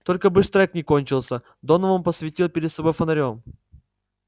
только бы штрек не кончился донован посветил перед собой фонарём